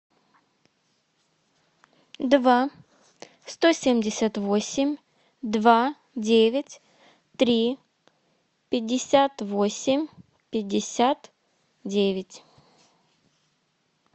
два сто семьдесят восемь два девять три пятьдесят восемь пятьдесят девять